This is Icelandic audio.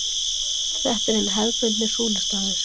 Þetta er hinn hefðbundni súlustaður.